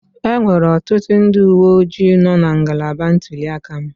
Enwere ọtụtụ ndị uwe ojii nọọ na ngalaba ntuli aka m